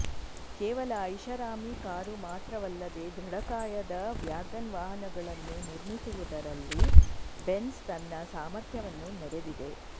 ಕೇವಲ ಐಷಾರಾಮಿ ಕಾರು ಮಾತ್ರವಲ್ಲದೆ ದೃಢಕಾಯದ ವ್ಯಾಗನ್ ವಾಹನಗಳನ್ನು ನಿರ್ಮಿಸುವುದರಲ್ಲೂ ಬೆಂಝ್ ತನ್ನ ಸಾಮರ್ಥ್ಯವನ್ನು ಮೆರೆದಿದೆ